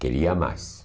Queria mais.